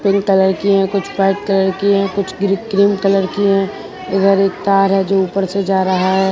Pink colour की हैं यहां कुछ व्हाइट कलर की हैं कुछ क्रीम कलर की हैं इधर एक तार है जो ऊपर से जा रहा है।